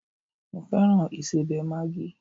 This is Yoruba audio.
Mo fẹ́ràn ìsẹbẹ̀ Maggi